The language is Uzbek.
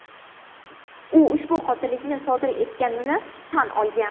U ushbu qotillikni sodir etganini tan olgan.